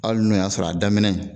Ali n'o y'a sɔrɔ a daminɛ